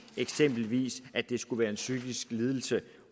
eksempelvis at det skulle være en psykisk lidelse